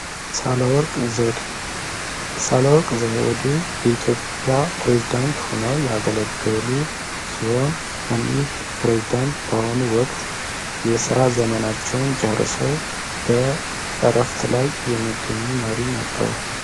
ሳለወርቅ ዘውዴ ሳለወርቅ ዘውዴ የኢትዮጵያ ፕሬዝዳንት ሆነው ያገለገሉ ሲሆን እኒህ ፕሬዝዳንት በአሆኑ ወቅት የስራት ዘመናቸውን ጨርሰው በእረፍት ላይ የሚገኙ መሪ ነበሩ።